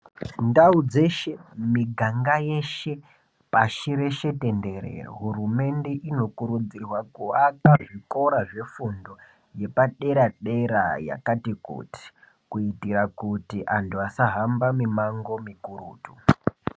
Ndau dzeshe miganga yeshe pashi reshe tendere, hurumende inokurudzirwa kuaka zvikora zvefundo yepadera dera yakati kuti kuitira kuti antu asahamba mimango mikurutu.